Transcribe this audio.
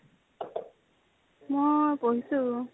মই পঢ়িছো।